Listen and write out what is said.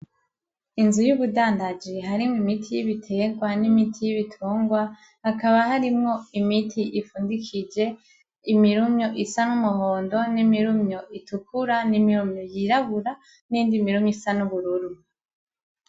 Inzu yubudandaji harimwo imiti y'ibiterwa n'imiti y'ibitungwa hakaba harimwo imiti ipfundikije imirumyo isa n'umuhondo n'imirumyo itukura n'imirumyo yirabura n'iyindi mirumyo isa n'ubururu.